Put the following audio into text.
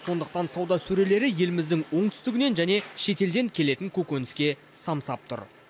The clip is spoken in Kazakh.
сондықтан сауда сөрелері еліміздің оңтүстігінен және шетелден келетін көкөніске самсап тұр